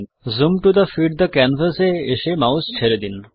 zoom to fit the canvas এ এসে mouse ছেড়ে দিন